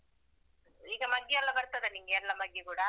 ಈಗ ಮಗ್ಗಿ ಎಲ್ಲ ಬರ್ತದ ನಿನ್ಗೆ ಎಲ್ಲ ಮಗ್ಗಿ ಕೂಡಾ.